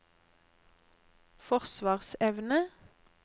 forsvarsevne